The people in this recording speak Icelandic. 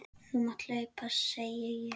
Þú mátt hlaupa, segi ég.